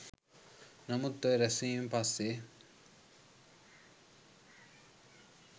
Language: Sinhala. නමුත් ඔය රැස්වීමෙන් පස්සේ